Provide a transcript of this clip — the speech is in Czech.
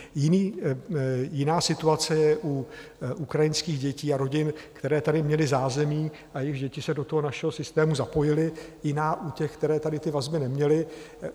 Jiná situace je u ukrajinských dětí a rodin, které tady měly zázemí a jejichž děti se do toho našeho systému zapojily, jiná u těch, které tady ty vazby neměly.